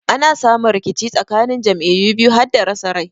Ana samu rikici tsakanin jam'iyyu biyu hada rasa rai.